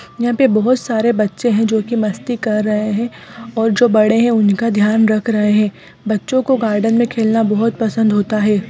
यहाँ पे बहुत सारे बच्चे हैं जो कि मस्ती कर रहे हैं और जो बड़े है उनका ध्यान रख रहे हैं बच्चों को गार्डन में खेलना बहुत पसंद होता है।